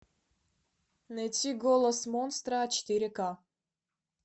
найти голос монстра четыре ка